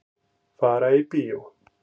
Fara í bíó.